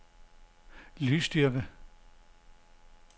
lydstyrke